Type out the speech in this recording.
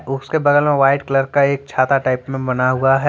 उसके बगल में वाइट कलर का एक छाता टाइप में बना हुआ है।